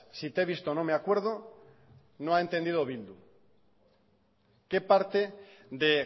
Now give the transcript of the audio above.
si te he visto no me acuerdo no ha entendido bildu qué parte de